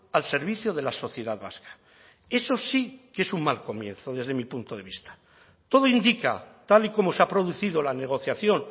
al servicio de la sociedad vasca eso sí que es un mal comienzo desde mi punto de vista todo indica tal y como se ha producido la negociación